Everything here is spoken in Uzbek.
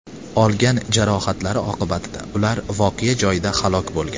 Olgan jarohatlari oqibatida ular voqea joyida halok bo‘lgan.